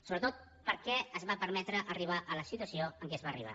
sobretot per què es va permetre arribar a la situació a què es va arribar